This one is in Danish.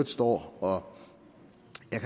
står og